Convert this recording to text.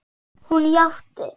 Hún játti.